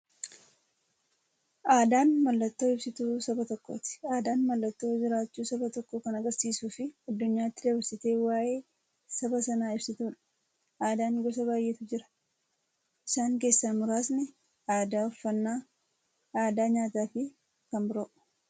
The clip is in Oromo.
Aadaan mallattoo ibsituu saba tokkooti. Aadaan mallattoo jiraachuu saba tokkoo kan agarsiistufi addunyyaatti dabarsitee waa'ee saba sanaa ibsituudha. Aadaan gosa baay'eetu jira. Isaan keessaa muraasni aadaa, uffannaa aadaa nyaataafi kan biroo.